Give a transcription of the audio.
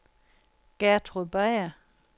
Gertrud Beyer